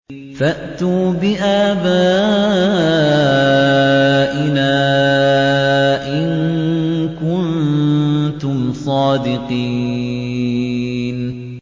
فَأْتُوا بِآبَائِنَا إِن كُنتُمْ صَادِقِينَ